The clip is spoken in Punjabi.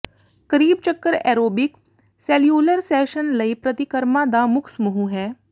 ਕਰੀਬ ਚੱਕਰ ਏਰੋਬਿਕ ਸੈਲਿਊਲਰ ਸ਼ੈਸ਼ਨ ਲਈ ਪ੍ਰਤੀਕਰਮਾਂ ਦਾ ਮੁੱਖ ਸਮੂਹ ਹੈ